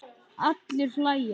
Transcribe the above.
Allir hlæja.